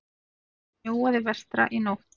Talsvert snjóaði vestra í nótt.